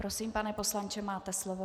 Prosím, pane poslanče, máte slovo.